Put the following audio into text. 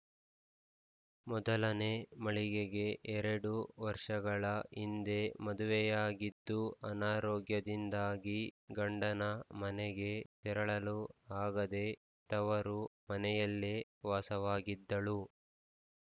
ಮೊದಲನೇ ಮಳಿಗೆಗೆ ಎರಡು ವರ್ಷಗಳ ಹಿಂದೆ ಮದುವೆಯಾಗಿದ್ದು ಅನಾರೋಗ್ಯದಿಂದಾಗಿ ಗಂಡನ ಮನೆಗೆ ತೆರಳಲು ಆಗದೆ ತವರು ಮನೆಯಲ್ಲೇ ವಾಸವಾಗಿದ್ದಳು